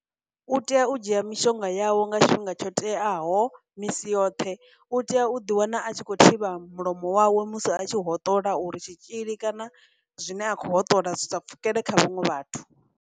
U tea u dzhia mishonga yawe nga tshifhinga tsho teaho misi yoṱhe, u tea u ḓi wana a tshi khou thivha mulomo wawe musi a tshi hoṱola uri tshitzhili kana zwine a khou hoṱola zwi sa pfhukela kha vhaṅwe vhathu.